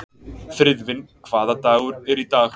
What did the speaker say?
Friðvin, hvaða dagur er í dag?